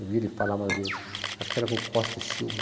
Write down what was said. Eu vi ele falar uma vez, acho que era com Costa e Silva.